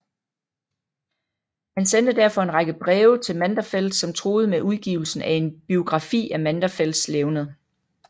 Han sendte derfor en række breve til Manderfeldt som truede med udgivelsen af en biografi af Manderfeldts levned